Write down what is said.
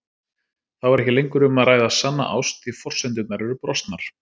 Þá er ekki lengur um að ræða sanna ást því forsendurnar eru brostnar.